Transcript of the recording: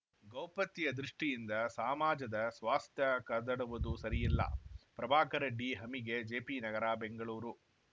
ಗೌಪ್ಯತೆಯ ದೃಷ್ಟಿಯಿಂದ ಸಾಮಾಜದ ಸ್ವಾಸ್ಥ್ಯ ಕದಡುವುದು ಸರಿಯಿಲ್ಲ ಪ್ರಭಾಕರ ಡಿ ಹಮಿಗಿ ಜೆ ಪಿ ನಗರ ಬೆಂಗಳೂರು